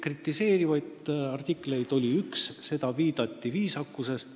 Kritiseerivaid artikleid oli üks ja sellele viidati viisakusest.